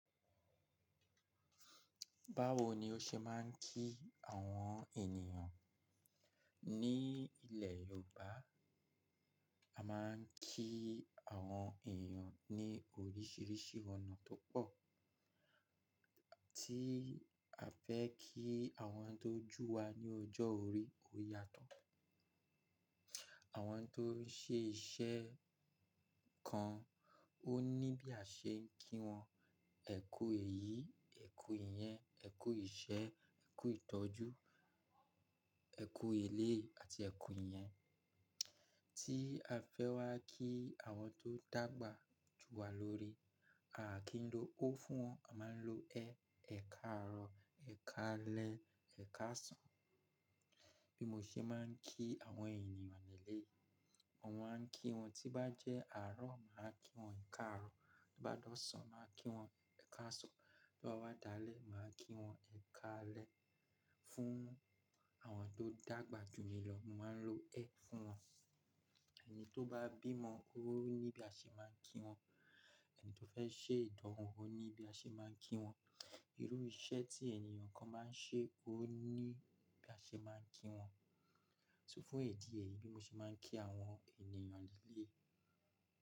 Báwo ni ó ṣe máa ń kí àwọn ènìyàn? Ní ilẹ̀ Yorùbá, a máa ń kí àwọn ènìyàn ní oríṣiríṣi ọ̀nà tó pọ̀. Tí a fẹ́ kí àwọn tó jú wa ní ọjọ́ orí, ó yàtọ̀. Àwọn tó ń ṣe iṣẹ́ kan ó ní bí a ṣe ń kí wọn. Ẹ kú èyí, ẹ̀ kú ìyẹn, ẹ̀ kú ìṣẹ́, ẹ̀ kú ìtọ́jú, ẹ̀ kú ilé àti ẹ̀ kú ìyẹn. Tí a fẹ́ wá kí àwọn tó dàgbà ju wa lórí, aà kín lo. Ó fún wọn, a máa ń lo ẹ̀, ẹ̀ káàárọ̀, ẹ̀ káalẹ́, ẹ̀ káàsán. Bí mo ṣe máa ń kí àwọn ènìyàn nílé, mo máa ń kí wọn tí bá jẹ́ àárọ̀, màá kí wọn ẹ̀ káàárọ̀. Bí bá dọ̀sán, màá kí wọn ẹ̀ káàsán. Bí ó bá wadalẹ́, màá kí wọn ẹ̀ káalẹ́. Fún àwọn tó dàgbà ju mi lọ, mo màá ń lo ẹ̀ fún wọn. Ẹni tó bá bímọ, ó ní bí a ṣe máa ń kí wọn. Ẹni tó fẹ́ ṣe ìdánwò, ó ní bí a ṣe máa ń kí wọn. Irú iṣẹ́ tí ènìyàn kan máa ń ṣe, ó ní bí a ṣe máa ń kí wọn. So fún ẹ̀dí ẹ yìí bí mo ṣe máa ń kí àwọn ènìyàn nílé.